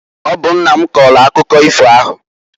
Ọ bụ nna m kọọlụ akụkọ ifo ahụ.